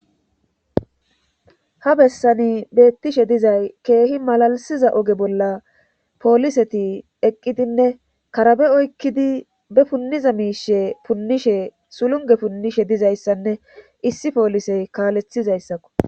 ha bessani beettishe dizay keehi malalisiza oge bolla pooliseti eqqidinne karabe oykkidi be punniza miishe punnishe sulunge punnishe dizayssanne issi poolisey kaalethizayssakko